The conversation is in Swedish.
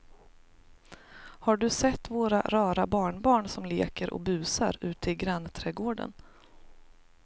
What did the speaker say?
Har du sett våra rara barnbarn som leker och busar ute i grannträdgården!